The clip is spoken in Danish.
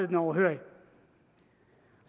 den overhørig